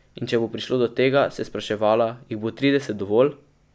In če bo prišlo do tega, se je spraševala, jih bo trideset dovolj?